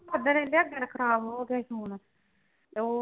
ਓਦਣ ਵੀ ਜੈ ਖਾਣਾ ਖ਼ਰਾਬ ਹੋ ਗਿਆ ਸੀ phone ਤੇ ਹੋਰ।